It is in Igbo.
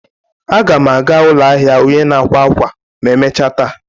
Aga m aga ụlọ ahịa onye n'akwa akwa ma emechaa taa.